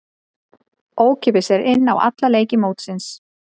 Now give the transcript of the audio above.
Ókeypis er inn á alla leiki mótsins.